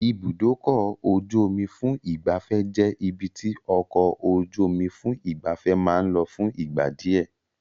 Ibùdókọ̀-ojú-omi fún ìgbafẹ́ jẹ́ ibi tí ọkọ̀-ojú-omí fún ìgbafẹ́ máa ń lọ fún ìgbà díẹ̀.